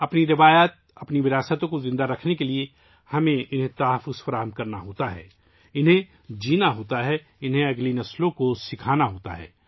اپنی روایات، اپنے ورثے کو زندہ رکھنے کے لیے ، ہمیں اسے بچانا ہوگا، اسے جینا ہوگا، آنے والی نسلوں کو سکھانا ہوگا